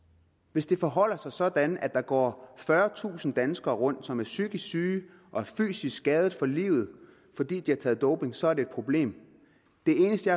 hvis det forholder sig sådan at der går fyrretusind danskere rundt som er psykisk syge og er fysisk skadet for livet fordi de har taget doping så er det et problem det eneste